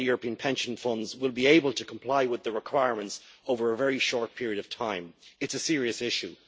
Whether European pension funds will be able to comply with the requirements over a very short period of time is a serious issue.